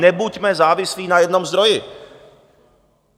Nebuďme závislí na jednom zdroji.